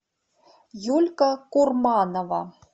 юлька курманова